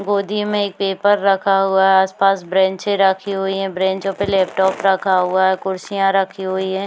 गोदी में एक पेपर रखा हुआ है आस-पास ब्रेनचे रखी हुई है ब्रेनचो पे लॅपटॉप रखा हुआ है कुर्सिया रखी हुई है।